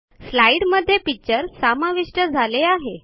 स्लाईडमध्ये पिक्चर समाविष्ट झाले आहे